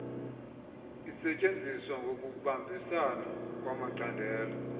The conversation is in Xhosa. isetyenzwa ngokubambisana kwamacandelo